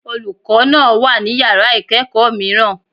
Olùkọ́ náà wà ní Yàrá ìkẹ́ẹ̀kọ̀ mìíràn.